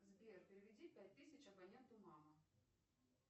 сбер переведи пять тысяч абоненту мама